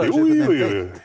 jú jú jú